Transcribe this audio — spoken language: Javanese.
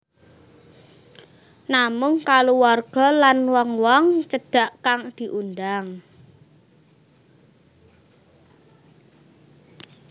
Namung kaluwarga lan wong wong cedhak kang diundhang